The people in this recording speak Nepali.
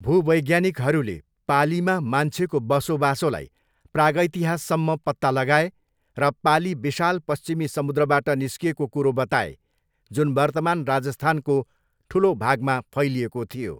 भूवैज्ञानिकहरूले पालीमा मान्छेको बसोबासोलाई प्रागितिहाससम्म पत्ता लगाए र पाली विशाल पश्चिमी समुद्रबाट निस्किएको कुरो बताए, जुन वर्तमान राजस्थानको ठुलो भागमा फैलिएको थियो।